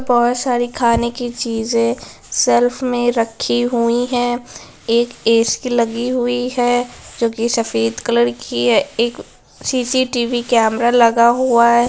बहुत सारी खाने की चीजे सेल्फ में रखी हुई है एक ए_सी लगी हुई है जोकि सफेद कलर की है एक सी_सी_टी_वी कैमरा लगा हुआ है